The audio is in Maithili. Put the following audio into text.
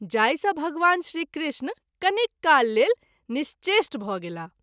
जाहि सँ भगवान श्री कृष्ण कनिक काल लेल निश्चेष्ट भ’ गेलाह।